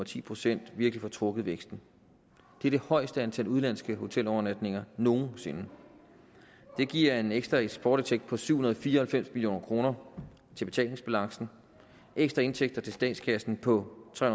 ti procent virkelig får trukket væksten det er det højeste antal udenlandske hotelovernatninger nogensinde det giver en ekstra eksportindtægt på syv hundrede og fire og halvfems million kroner til betalingsbalancen ekstra indtægter til statskassen på tre